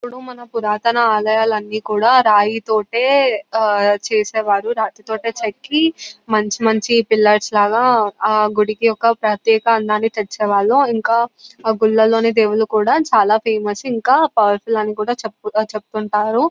అప్పుడు మాన పురాతన ఆలయాలు అని కూడా రాయితోటె ఆహ్ చేసేవాళ్ళు రాతి తోటే చెక్కి మంచి మంచి పిల్లర్స్ లాగా ఆ గుడికి ఒక ప్రత్యేక అందాన్ని తెచ్చేవాళ్ళు ఇంకా ఆ గుల్లలోని దేవుళ్ళు ఫేమస్ ఇంకా పవర్ఫుల్ అని కూడా చెప్తు చెప్తుంటారు